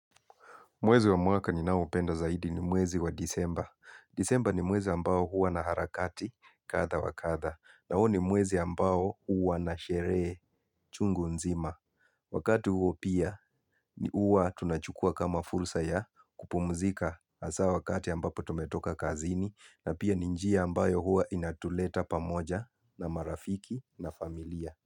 Mwezi wa mwaka ninao upenda zaidi ni mwezi wa disemba. Disemba ni mwezi ambao huwa na harakati kadha wa kadha. Na huu ni mwezi ambao huwa na sherehe chungu nzima. Wakati huu pia huwa tunachukua kama fursa ya kupumzika hasaa wakati ambapo tumetoka kazini. Na pia ni njia ambayo huwa inatuleta pamoja na marafiki na familia.